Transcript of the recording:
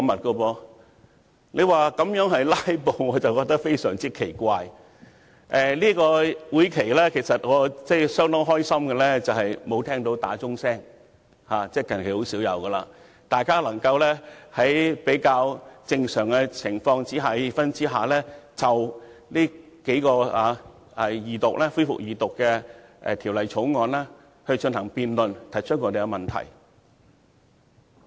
就這次會議而言，令我相當高興的是沒有聽到傳召鐘響起——其實近來已很少聽到傳召鐘響起——以致議員能夠在比較正常的氣氛下，就3項恢復二讀辯論的法案進行辯論和提出問題。